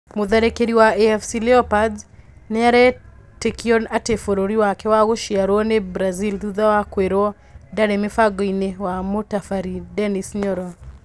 Mũtharĩkĩri wa AFC leopards nĩaretĩkio atĩ bũrũri wake wa gũciarĩrwo nĩ Brazil thutha wa kwĩro ndarĩ mĩbango-inĩ wa mũtabarĩri Denns Nyoro